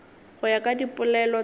go ya ka dipolelo tša